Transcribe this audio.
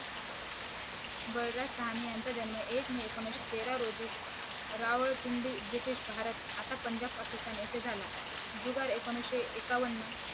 बलराज सहानी यांचा जन्म एक मे एकोणीशे तेरा रोजी रावल पिंडी ब्रिटिश भारत आता पंजाब पाकिस्तान येथे झाला जुगाड एकोणीशे एकावन्न